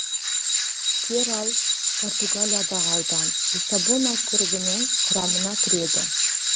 перал португалиядағы аудан лиссабон округінің құрамына кіреді